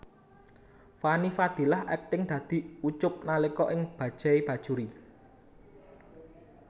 Fanny Fadillah akting dadi Ucup nalika ing Bajaj Bajuri